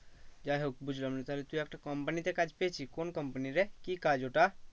যাই হোক বুঝলাম তাহলে তুই একটা company তে কাজ পেয়েছিস? কোন company রে? কি কাজ ওটা?